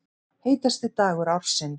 Heitasti dagur ársins